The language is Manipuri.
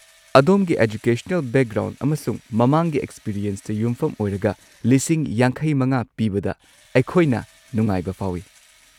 ꯑꯗꯣꯝꯒꯤ ꯑꯦꯖꯨꯀꯦꯁꯅꯦꯜ ꯕꯦꯛꯒ꯭ꯔꯥꯎꯟ ꯑꯃꯁꯨꯡ ꯃꯃꯥꯡꯒꯤ ꯑꯦꯛꯁꯄꯤꯔꯤꯌꯦꯟꯁꯇ ꯌꯨꯝꯐꯝ ꯑꯣꯏꯔꯒ ꯂꯤꯁꯤꯡ ꯵꯵ ꯄꯤꯕꯗ ꯑꯩꯈꯣꯏꯅ ꯅꯨꯡꯉꯥꯏꯕ ꯐꯥꯎꯏ꯫